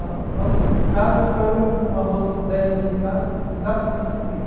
A nossa casa ficava era uma rua assim com dez ou quinze casas, exatamente no meio.